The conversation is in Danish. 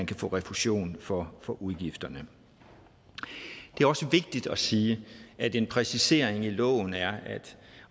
kan få refusion for for udgifterne det er også vigtigt at sige at en præcisering i loven er at